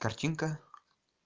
картинка